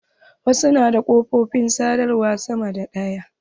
Wasu na da ƙafofin sadawar sama da ɗaya.